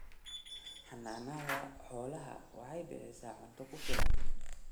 Xannaanada xoolaha waxay bixisaa cunto ku filan.